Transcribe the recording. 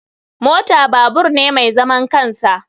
Mota babur ne mai zaman kansa.